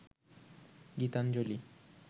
Gitanjali